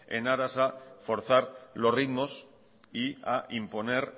en aras a forzar los ritmos y a imponer